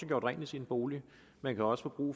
gjort rent i sin bolig man kan også få brug